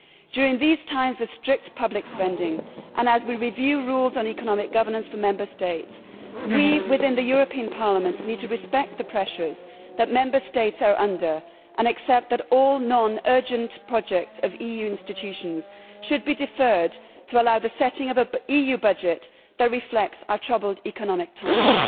During these times of strict public spending, and as we review rules on economic governance for Member States, we within the European Parliament need to respect the pressures that Member States are under and accept that all non urgent projects of EU institutions should be deferred to allow the setting of an EU budget that reflects our troubled economic times.